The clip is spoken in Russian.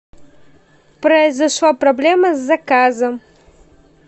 произошла проблема с заказом